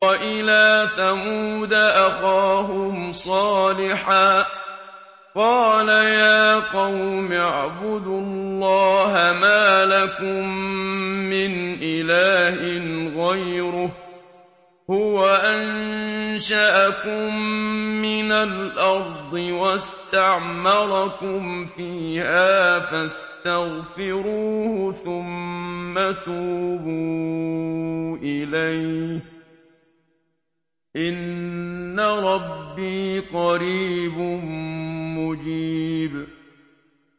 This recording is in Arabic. ۞ وَإِلَىٰ ثَمُودَ أَخَاهُمْ صَالِحًا ۚ قَالَ يَا قَوْمِ اعْبُدُوا اللَّهَ مَا لَكُم مِّنْ إِلَٰهٍ غَيْرُهُ ۖ هُوَ أَنشَأَكُم مِّنَ الْأَرْضِ وَاسْتَعْمَرَكُمْ فِيهَا فَاسْتَغْفِرُوهُ ثُمَّ تُوبُوا إِلَيْهِ ۚ إِنَّ رَبِّي قَرِيبٌ مُّجِيبٌ